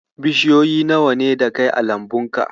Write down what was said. Bishiyoyi nawa ne da kai a lambunka?